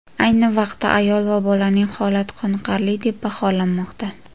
Ayni vaqtda ayol va bolaning holati qoniqarli deb baholanmoqda.